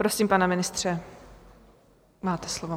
Prosím, pane ministře, máte slovo.